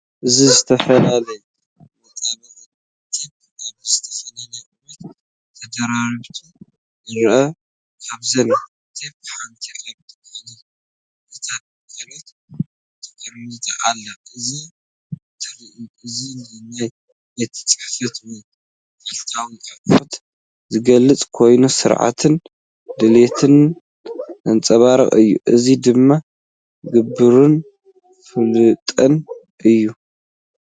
እዚ ዝተፈላለዩ መጣበቒ ቴፕ ኣብ ዝተፈላለየ ቁመት ተደራሪቦም ይርኣዩ። ካብዘን ቴፕ ሓንቲ ኣብ ልዕሊ እተን ካልኦት ተቀሚጣ ኣላ። እዚ ትርኢት እዚ ንናይ ቤት ጽሕፈት ወይ መዓልታዊ ኣቑሑት ዝገልጽ ኮይኑ፡ስርዓትን ድልውነትን ዘንጸባርቕ እዩ። እዚ ድማ ግብራውን ፍሉጥን እዩ።